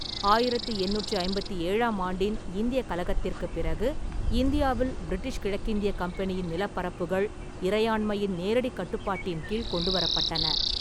ஆயிரத்தி எண்ணூற்றி ஐம்பத்தி ஏழாம் ஆண்டின் இந்தியக் கலகத்திற்குப் பிறகு, இந்தியாவில் பிரிட்டிஷ் கிழக்கிந்தியக் கம்பெனியின் நிலப்பரப்புகள் இறையாண்மையின் நேரடிக் கட்டுப்பாட்டின் கீழ் கொண்டுவரப்பட்டன.